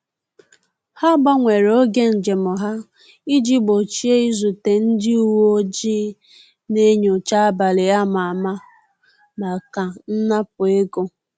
Ha gbanwere oge njem ha iji gbochie izute ndị uweojii na-enyocha abalị a ma ama maka nnapu ego